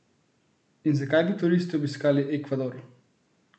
In zakaj bi turisti obiskali Ekvador?